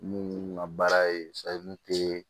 Mun ka baara ye ye